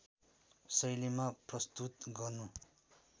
शैलीमा प्रस्तुत गर्नु